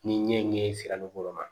Ni ɲɛŋɛ sera ma